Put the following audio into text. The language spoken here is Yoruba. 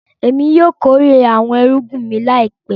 Ẹmi yóò kòrè awọn èrùgbìn mi láìpẹ̀.